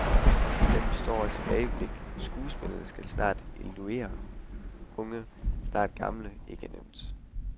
Den består af tilbageblik, skuespillerne skal snart illudere unge, snart gamle, ikke nemt.